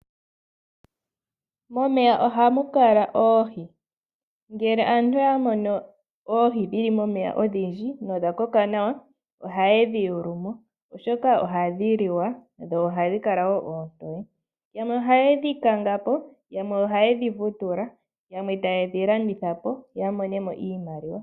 Momeya ohamukala oohi, ngele aantu oya mono oohi dhili momeya odhindji no dhakoka nawa oha ye dhiyulumo oshoka oha dhiliwa dho ohadhikala oontoye, yamwe oha yedhe kangapo, yamwe oha yedhivutula, yamwe ta yedhi landithapo ya monemo iimaliwa.